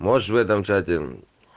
можешь в этом чате